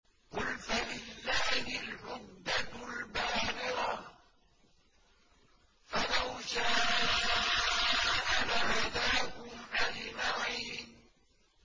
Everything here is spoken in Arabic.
قُلْ فَلِلَّهِ الْحُجَّةُ الْبَالِغَةُ ۖ فَلَوْ شَاءَ لَهَدَاكُمْ أَجْمَعِينَ